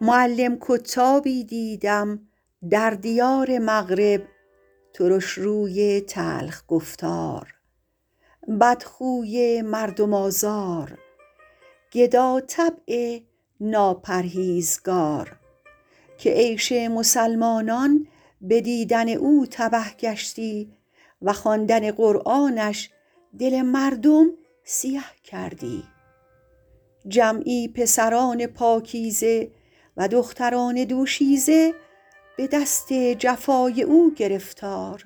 معلم کتابی دیدم در دیار مغرب ترشروی تلخ گفتار بدخوی مردم آزار گداطبع ناپرهیزگار که عیش مسلمانان به دیدن او تبه گشتی و خواندن قرآنش دل مردم سیه کردی جمعی پسران پاکیزه و دختران دوشیزه به دست جفای او گرفتار